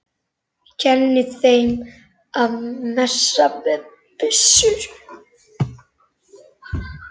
Kenni þeim að messa með byssu?